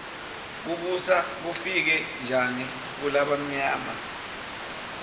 kubusa kufike njani kulabamyama